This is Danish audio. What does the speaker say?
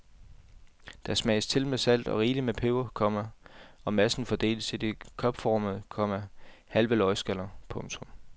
Den smages til med salt og rigeligt med peber, komma og massen fordeles i de kopformede, komma halve løgskaller. punktum